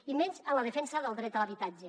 i menys en la defensa del dret a l’habitatge